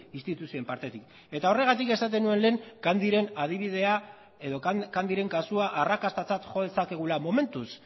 instituzioen partetik eta horregatik esaten nuen lehen candyren adibidea edo candyren kasua arrakastatzat jo dezakegula momentuz